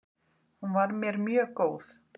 Hún var mér mjög góð.